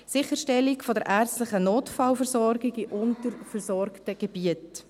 Sicherstellung der ärztlichen Notfallversorgung in unterversorgten Gebieten: